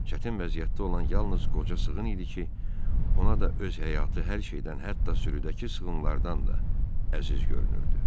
Çətin vəziyyətdə olan yalnız qoca sığın idi ki, ona da öz həyatı hər şeydən hətta sürüdəki sığınlardan da əziz görünürdü.